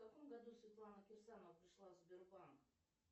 в каком году светлана керсанова пришла в сбербанк